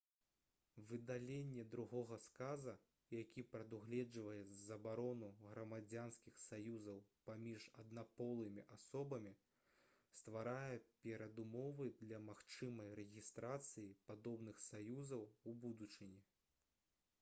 выдаленне другога сказа які прадугледжваў забарону грамадзянскіх саюзаў паміж аднаполымі асобамі стварае перадумовы для магчымай рэгістрацыі падобных саюзаў у будучыні